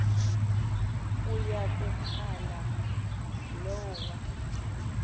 uya kuphala lowa